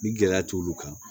Ni gɛlɛya t'olu kan